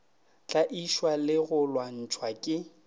tlaišwa le go lwantšhwa ke